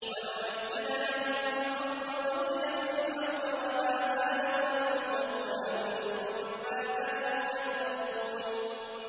وَنُمَكِّنَ لَهُمْ فِي الْأَرْضِ وَنُرِيَ فِرْعَوْنَ وَهَامَانَ وَجُنُودَهُمَا مِنْهُم مَّا كَانُوا يَحْذَرُونَ